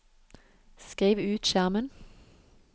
skriv ut skjermen